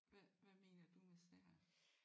Hvad hvad mener du med sær?